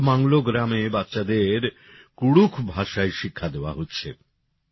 গড়বা জেলার মংলো গ্রামে বাচ্চাদের কুড়ুখ ভাষায় শিক্ষা দেওয়া হচ্ছে